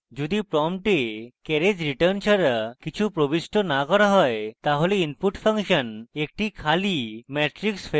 যদি prompt carriage return ছাড়া কিছু প্রবিষ্ট না করা হয় তাহলে input ফাংশন একটি খালি matrix ফেরৎ দেয়